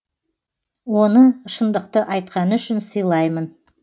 оны шындықты айтқаны үшін сыйлаймын